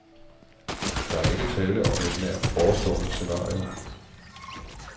Der er ikke tale om et nært forestående scenario.